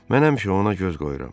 Mən həmişə ona göz qoyuram.